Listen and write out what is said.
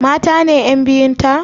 Mata ne ƴan biyun ta?